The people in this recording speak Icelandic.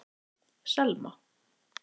Selma